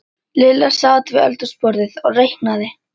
Lilla sat við eldhúsborðið og reiknaði.